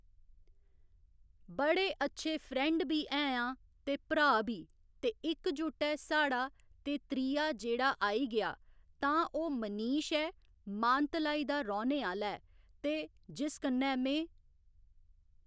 बड़े अच्छे फ्रेंड बी है'आं ते भ्राऽ बी ते इकजुट्ट ऐ साढ़ा ते त्रीया जेह्ड़ा आई गेआ तां ओह् मनीष ऐ मानतलाई दा रौह्‌ने आह्‌ला ऐ ते जिस कन्नै में